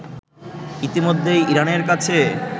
ইতোমধ্যেই ইরানের কাছে